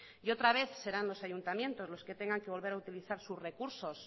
y otra vez serán los ayuntamientos los que tengan que volver a utilizar sus recursos